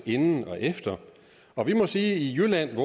inden og efter og vi må sige at i jylland